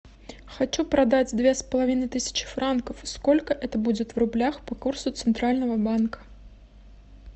хочу продать две с половиной тысячи франков сколько это будет в рублях по курсу центрального банка